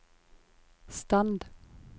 stand